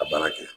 A baara kɛ